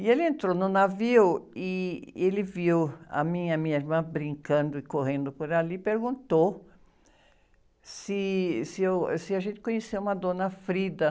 E ele entrou no navio e ele viu a minha, minha irmã brincando e correndo por ali e perguntou se a gente conhecia uma dona Frida.